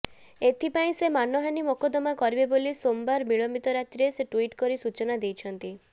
ଏଥିପାଇଁ ସେ ମାନହାନି ମୋକଦ୍ଦମା କରିବେ ବୋଲି ସୋମବାର ବିଳମ୍ବିତ ରାତିରେ ସେ ଟ୍ୱିଟ୍ କରି ସୂଚନା ଦେଇଛନ୍ତି